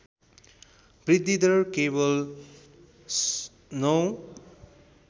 वृद्धिदर केवल ०९